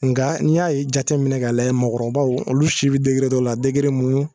Nka n'i y'a ye jateminɛ k'a lajɛ mɔgɔkɔrɔbaw olu si bɛ dɔ la min